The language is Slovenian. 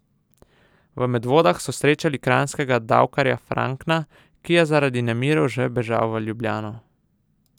V Medvodah so srečali kranjskega davkarja Frankna, ki je zaradi nemirov že bežal v Ljubljano.